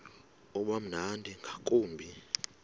uba mnandi ngakumbi